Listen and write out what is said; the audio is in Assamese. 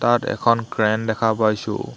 তাত এখন ক্ৰেন দেখা পাইছোঁ।